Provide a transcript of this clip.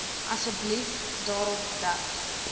asseblief daarop dat